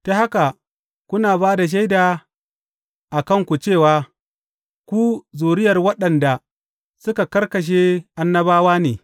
Ta haka kuna ba da shaida a kanku cewa ku zuriyar waɗanda suka karkashe annabawa ne.